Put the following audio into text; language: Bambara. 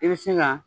I bɛ se ka